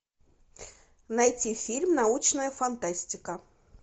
найти фильм научная фантастика